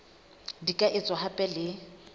di ka etswa hape le